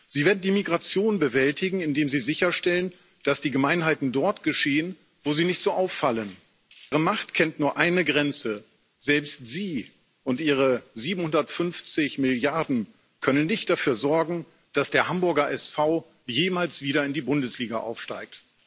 Sie werden die Migration bewältigen, indem Sie sicherstellen, dass die Gemeinheiten dort geschehen, wo sie nicht so auffallen. Ihre Macht kennt nur eine Grenze Selbst Sie und Ihre 750 Milliarden können nicht dafür sorgen, dass der Hamburger SV jemals wieder in die Bundesliga aufsteigt.